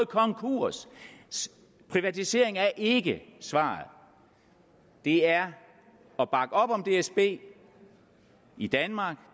konkurs privatisering er ikke svaret det er at bakke op om dsb i danmark